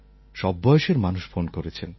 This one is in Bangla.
সব বয়সের মানুষ ফোন করেছেন